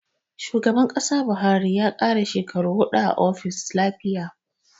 Shugaban Kasa Buhari ya karasa shekaru huɗu a ofis lafiya